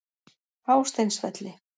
Hásteinsvelli